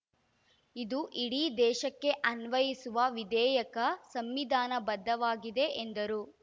ಇದು ಇಡೀ ದೇಶಕ್ಕೆ ಅನ್ವಯಿಸುವ ವಿಧೇಯಕ ಸಂವಿಧಾನಬದ್ಧವಾಗಿದೆ ಎಂದರು